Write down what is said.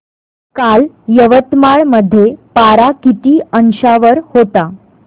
काल यवतमाळ मध्ये पारा किती अंशावर होता